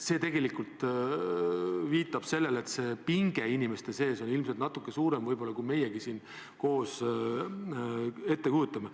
See viitab sellele, et pinge inimeste sees on natuke suurem, kui meie siin koos ette kujutame.